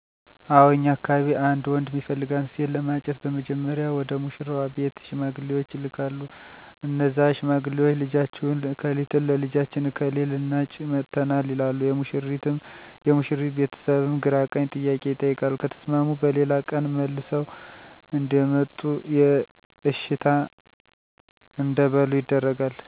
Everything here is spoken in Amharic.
አው እኛ አካባቢ አንድ ወንድ እሚፈልጋትን ሴት ለማጨት በመጀመሪያ ወደ ሙሺራዋ ቤት ሺማግሌወች ይላካሉ እነዛ ሺማግሌወች ልጃችሁን እከሊትን ለልጃችን እከሌ ልናጭ መጥተናል ይላሉ የሙሺሪት ቤተስብም ግራቀኝ ጥያቄ ይቀይቃሉ ከተስማሙ በሌላ ቀን ተመልሰው እዴመጡና የእሺታ እዴበሉ ይደረጋል